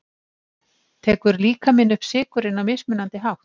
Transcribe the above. Tekur líkaminn upp sykurinn á mismunandi hátt?